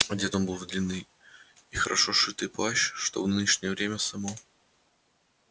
одет он был в длинный и хорошо сшитый кожаный плащ что в нынешнее время само